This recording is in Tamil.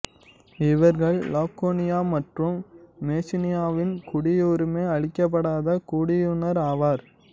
இவர்கள் லாகோனியா மற்றும் மெசீனியாவின் குடியுரிமை அளிக்கப்படாத குடியினர் ஆவர்